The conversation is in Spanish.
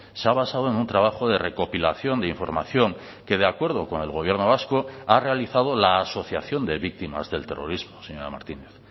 se ha basado en un trabajo de recopilación de información que de acuerdo con el gobierno vasco ha realizado la asociación de víctimas del terrorismo señora martínez